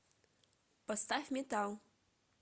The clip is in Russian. поставь метал